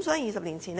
所以，政府早在20年前